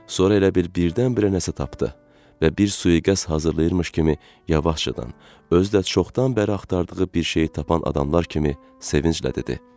Sonra elə bil birdən-birə nəsə tapdı və bir sui-qəsd hazırlayırmış kimi yavaşcadan, özü də çoxdan bəri axtardığı bir şeyi tapan adamlar kimi sevinclə dedi: